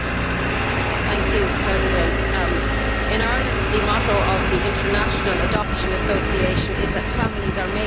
Mr President, in Ireland, the motto of the International Adoption Association is that families are made in many ways.